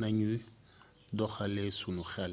nañuy doxalee sunu xél